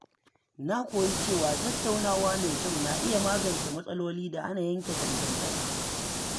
Na koyi cewa tattaunawa mai kyau na iya magance matsaloli da hana yanke dangantaka.